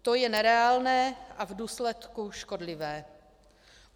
To je nereálné a v důsledku škodlivé.